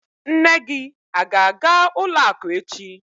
Nne gị a ga-aga ụlọakụ echi?